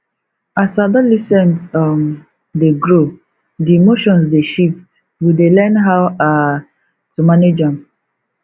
as adolescent um dey grow di emotions dey shift we dey learn how um to manage am